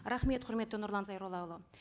рахмет құрметті нұрлан зайроллаұлы